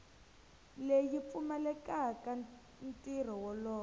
leyi yi pfumelelaka ntirho wolowo